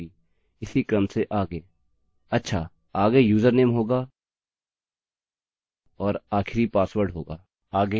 अच्छा आगे यूजरनेम होगा और आखिरी पासवर्ड होगा